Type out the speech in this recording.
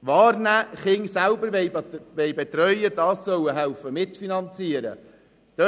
wahrnehmen und ihre Kinder selber betreuen, dies mitfinanzieren müssen.